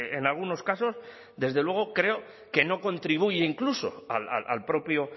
en algunos casos desde luego creo que no contribuye incluso al propio